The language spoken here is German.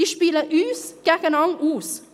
Diese spielen uns gegeneinander aus.